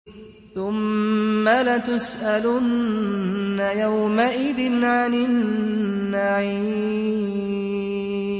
ثُمَّ لَتُسْأَلُنَّ يَوْمَئِذٍ عَنِ النَّعِيمِ